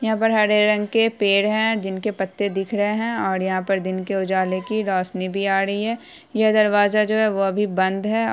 यहाँ पर हरे रंग के पेड़ है जिनके पत्ते दिख रहे है और यहाँ पर दिन के उजाले की रौशनी भी आ रही है यह दरवाजा जो है वो अभी बंद है।